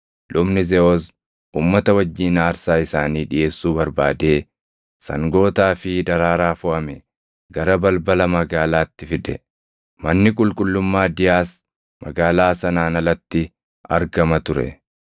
Lubni Zeʼoos uummata wajjin aarsaa isaanii dhiʼeessuu barbaadee sangootaa fi daraaraa foʼame gara balbala magaalaatti fide; manni qulqullummaa Diyaas magaalaa sanaan alatti argama ture.